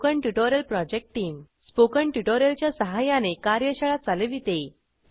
spoken tutorial project team spoken tutorial च्या सहाय्याने कार्यशाळा चालविते